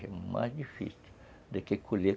Já é mais difícil do quer colher